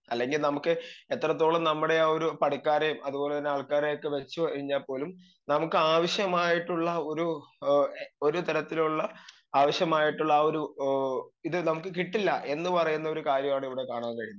speaker 2 അല്ലെങ്കി നമുക്ക് എത്രത്തോളം നമ്മുടെ ആ ഒരു പണിക്കാരേം അത്പോലെ തന്നെ ആൾക്കാരെയൊക്കെ വെച്ച് ഒഴിഞ്ഞാൽ പോലും നമുക്കാവശ്യമായിട്ടുള്ള ഒരു ഏ ഒരു തരത്തിലുള്ള ആവശ്യമായിട്ടുള്ള ആ ഒരു ഏ ഇത് നമുക്ക് കിട്ടില്ല എന്ന് പറയുന്നൊരു കാര്യാണ് ഇവടെ കാണാൻ കഴിയുന്നത്